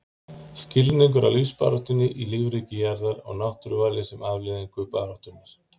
Skilningur á lífsbaráttunni í lífríki jarðar og náttúruvali sem afleiðingu baráttunnar.